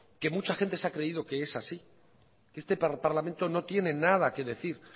que mucha gente se ha creído que es así que este parlamento no tiene nada que decir